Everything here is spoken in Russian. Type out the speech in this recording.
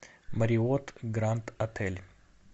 марриотт гранд отель